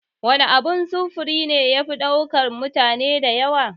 Wan abun sufuri ne yafi ɗaukan mutane da yawa?